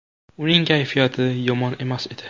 Uning kayfiyati yomon emas edi.